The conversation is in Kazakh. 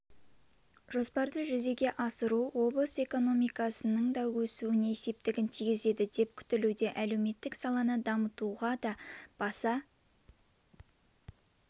жоспарды жүзеге асыру облыс экономикасының да өсуіне септігін тигізеді деп күтілуде әлеуметтік саланы дамытуға да баса